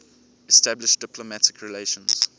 established diplomatic relations